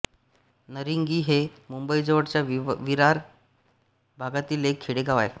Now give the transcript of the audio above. नारिंगी हे मुंबईजवळच्या विरार भागातील एक खेडेगाव आहे